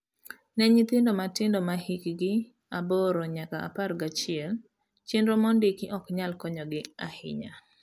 Ne nyithindo matindo mahikgi aboro nyaka apar gachiel, chenro mo ndiki ok nyal konyogi ahinya.